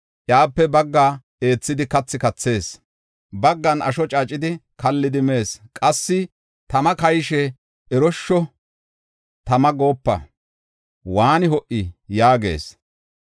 Iyape baggaa eethidi kathi kathees; baggan asho caacidi kallidi mees. Qassi tama kayishe, “Eroshsho, tama goopa; waani ho77i” yaagees.